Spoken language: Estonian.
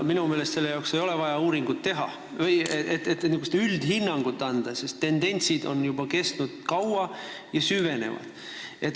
Minu meelest ei ole vaja uuringut teha, et niisugust üldhinnangut anda, sest tendentsid on kestnud juba kaua ja süvenevad.